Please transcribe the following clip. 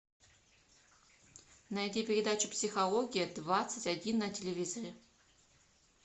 найди передачу психология двадцать один на телевизоре